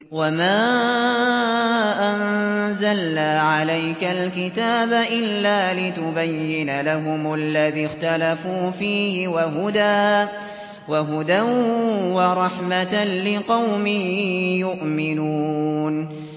وَمَا أَنزَلْنَا عَلَيْكَ الْكِتَابَ إِلَّا لِتُبَيِّنَ لَهُمُ الَّذِي اخْتَلَفُوا فِيهِ ۙ وَهُدًى وَرَحْمَةً لِّقَوْمٍ يُؤْمِنُونَ